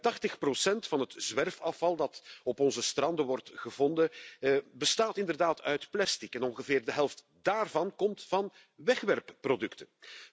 Ruim 80 van het zwerfafval dat op onze stranden wordt gevonden, bestaat inderdaad uit plastic en ongeveer de helft daarvan komt van wegwerpproducten.